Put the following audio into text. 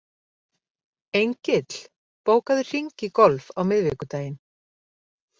Engill, bókaðu hring í golf á miðvikudaginn.